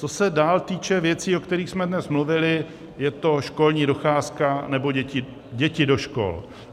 Co se dál týče věcí, o kterých jsme dnes mluvili, je to školní docházka nebo děti do škol.